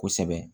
Kosɛbɛ